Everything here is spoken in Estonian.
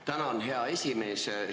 Tänan, hea esimees!